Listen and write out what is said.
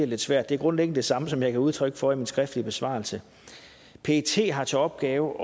lidt svært er grundlæggende det samme som jeg gav udtryk for i min skriftlige besvarelse pet har til opgave